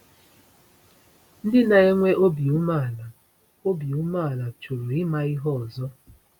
Ndị na-enwe obi umeala obi umeala choro ịma ihe ọzọ.